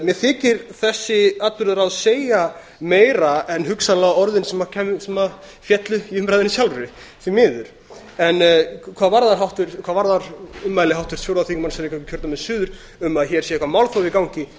mér þykir þessi atburðarás segja meira en hugsanlega orðin sem féllu í umræðunni sjálfri því miður hvað varðar ummæli háttvirts fjórða þingmanns reykjavíkurkjördæmis suður um að hér sé eitthvert málþóf í gangi